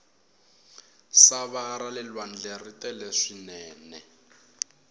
sava rale lwandle ri tele swinene